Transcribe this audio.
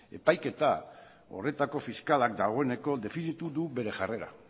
epaiketa horretako fiskalak dagoeneko definitu du bere jarrera